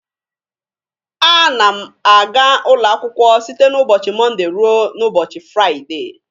A na m a ga ụlọakwụkwọ site n'ụbọchị Mọnde ruo n'ụbọchị Firaide.